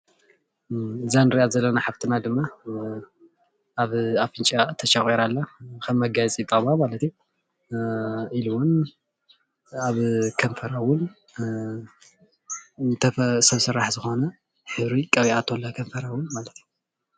እዛ ንሪኣ ዘለፋና ሓፍትና ድማ ኣብ ኣፍንጭኣ ተሸቝራ ኣላ። ከም መጋየፂ ይጠቕማ ማለት እዩ። ኢሉ እውን ኣብ ከንፈራ እውን ዝተፈላለዩ ሰብ ስራሕ ዝኾነ ሕብሪ ቀቢኣቶ ኣላ ከንፈራ እውን ማለት እዩ።